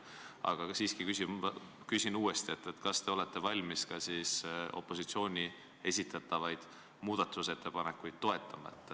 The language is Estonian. Aga küsin siiski uuesti, kas te olete valmis ka opositsiooni esitatavaid muudatusettepanekuid toetama.